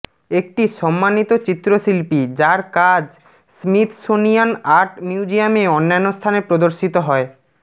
একটি সম্মানিত চিত্রশিল্পী যার কাজ স্মিথসোনিয়ান আর্ট মিউজিয়ামে অন্যান্য স্থানে প্রদর্শিত হয়